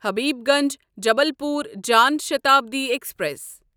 Habibganj Jabalpur Jan Shatabdi express